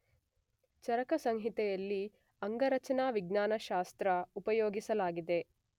ಚರಕಸಂಹಿತೆಯಲ್ಲಿ ಅಂಗರಚನಾವಿಜ್ಞಾನಶಾಸ್ತ್ರ ಉಪಯೋಗಿಸಲಾಗಿದೆ